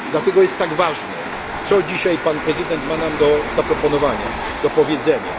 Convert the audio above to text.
Dlatego jest tak ważne, co dzisiaj pan prezydent ma nam do zaproponowania, do powiedzenia.